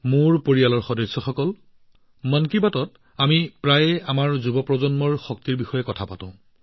মোৰ পৰিয়ালৰ সদস্যসকলে মন কী বাতৰ খণ্ডটোত আমি প্ৰায়ে আমাৰ নৱপ্ৰজন্মৰ সম্ভাৱনাৰ বিষয়ে আলোচনা কৰোঁ